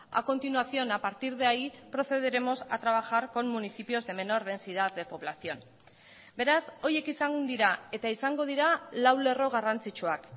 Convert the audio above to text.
a continuación a partir de ahí procederemos a trabajar con municipios de menor densidad de población beraz horiek izan dira eta izango dira lau lerro garrantzitsuak